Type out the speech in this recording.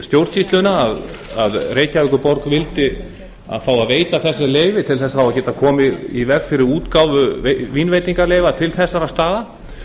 stjórnsýsluna að reykjavíkurborg vildi fá að veita þessi leyfi til þess að geta komið í veg fyrir útgáfu vínveitingaleyfa til þessara staða